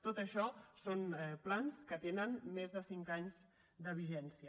tot això són plans que tenen més de cinc anys de vigència